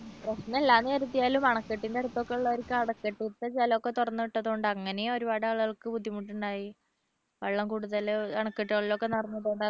പ്രശ്നമില്ല എന്ന് കരുതിയാലും അണക്കെട്ടിന്റെ അടുത്തൊക്കെ ഉള്ളവർക്ക് അവിടെ അണക്കെട്ടിത്തെ ജലം ഒക്കെ തുറന്ന് വിട്ടത് കൊണ്ട് അങ്ങനെ ഒരുപാട് ആളുകൾക്ക് ബുദ്ധിമുട്ടുണ്ടായി വെള്ളം കൂടുതൽ അണക്കെട്ടുകളിലൊക്കെ നിറഞ്ഞതുകൊണ്ട്